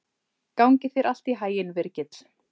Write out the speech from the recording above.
Gangi þér allt í haginn, Virgill.